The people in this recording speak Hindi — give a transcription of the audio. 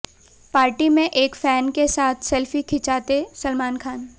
पार्टी में एक फैन के साथ सेल्फी खिंचाते सलमान खान